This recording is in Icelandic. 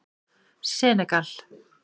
Senegal